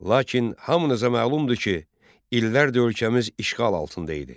Lakin hamınıza məlumdur ki, illərdir ölkəmiz işğal altında idi.